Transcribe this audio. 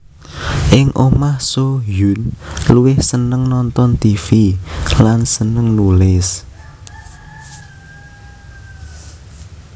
Ing omah Soo Hyun luwih seneng nonton tv lan seneng nulis